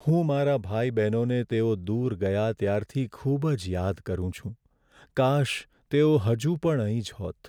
હું મારા ભાઈ બહેનોને તેઓ દૂર ગયા ત્યારથી ખૂબ જ યાદ કરું છું. કાશ, તેઓ હજુ પણ અહીં જ હોત.